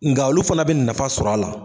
Nga olu fana be nafa sɔrɔ a la